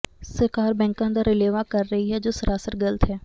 ਸਰਕਾਰ ਬੈਂਕਾਂ ਦਾ ਰਲੇਵਾਂ ਕਰ ਰਹੀ ਹੈ ਜੋ ਸਰਾਸਰ ਗ਼ਲਤ ਹੈ